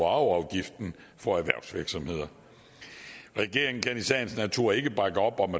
og arveafgiften for erhvervsvirksomheder regeringen kan i sagens natur ikke bakke op om